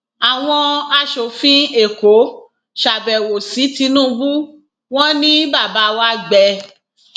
àwọn aṣòfin èkó ṣàbẹwò sí tinubu wọn ni bàbá wa gbẹ